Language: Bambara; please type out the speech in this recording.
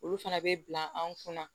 Olu fana bɛ bila an kunna